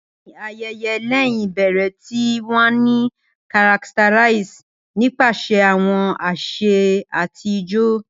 Bẹẹni, ayẹyẹ lẹhin ibẹrẹ ti wa ni characterized nipasẹ awọn ase ati ijó.